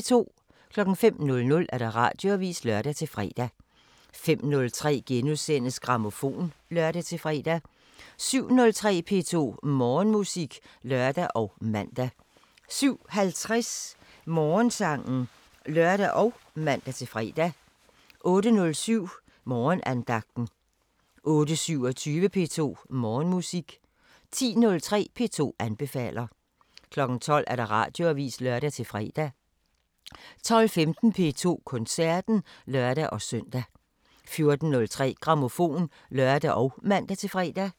05:00: Radioavisen (lør-fre) 05:03: Grammofon *(lør-fre) 07:03: P2 Morgenmusik (lør og man) 07:50: Morgensangen (lør og man-fre) 08:07: Morgenandagten 08:27: P2 Morgenmusik 10:03: P2 anbefaler 12:00: Radioavisen (lør-fre) 12:15: P2 Koncerten (lør-søn) 14:03: Grammofon (lør og man-fre)